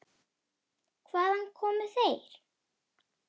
Hvaðan komu þeir?